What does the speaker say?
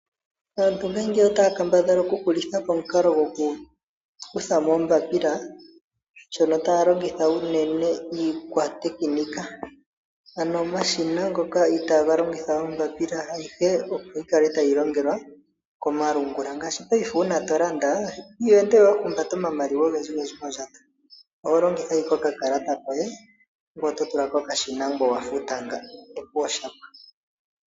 Aantu ngaashingeyi otaa kambadhala okuhulitha po omukalo gokukutha mo oombapila, shono taya longitha unene iikwatekinika, ano omashina ngoka itaaga longitha oombapila, ayihe opo yi kale tayi longelwa komalungula. Ngaashi paife uuna to landa iho ende we wa humbata omamaliwa ogendjigendji mondjato, oho longitha ashike okakalata koye, ngoye oto tula kokashina ngoye owa futa, opuwo osha pwa.